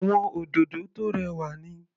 Àwọn òdòdó tó rẹwà ni.